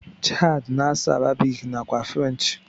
Chard na asụ arabic nakwa french.